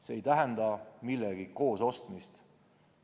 See ei tähenda millegi koos ostmist.